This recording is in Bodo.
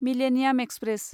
millennium express